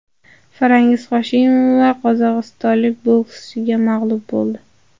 Farangiz Hoshimova qozog‘istonlik bokschiga mag‘lub bo‘ldi.